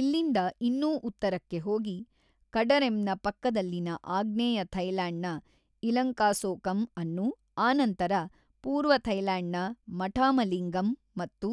ಇಲ್ಲಿಂದ ಇನ್ನೂ ಉತ್ತರಕ್ಕೆ ಹೋಗಿ ಕಡರೆಮ್‌ನ ಪಕ್ಕದಲ್ಲಿನ ಆಗ್ನೇಯ ಥೈಲ್ಯಾಂಡ್‌ನ ಇಲಂಕಾಸೋಕಮ್ ಅನ್ನು ಆನಂತರ ಪೂರ್ವ ಥೈಲ್ಯಾಂಡ್‌ನ ಮಠಾಮಲಿಂಗಮ್ ಮತ್ತು